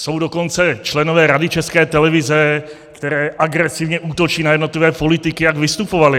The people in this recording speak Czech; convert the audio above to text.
Jsou dokonce členové Rady České televize, kteří agresivně útočí na jednotlivé politiky, jak vystupovali.